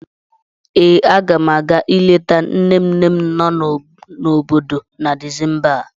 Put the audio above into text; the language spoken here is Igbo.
Ee, aga m a ga-ileta nne nne m no n'obodo na Disemba a.